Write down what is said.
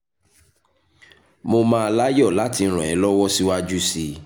mo máa láyọ̀ láti ràn ẹ́ lọ́wọ́ síwájú sí i